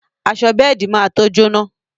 Aṣọ bẹ́ẹ̀di má to jóná